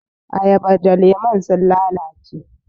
Ayaban da lemun sun lalace.